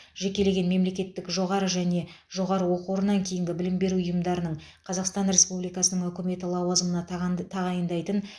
жекелеген мемлекеттік жоғары және жоғары оқу орнынан кейінгі білім беру ұйымдарының қазақстан республикасының үкіметі лауазымына таған тағайындайтын